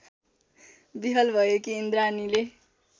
विह्वल भएकी इन्द्राणीले